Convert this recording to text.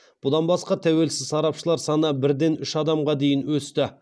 бұдан басқа тәуелсіз сарапшылар саны бір ден үш адамға дейін өсті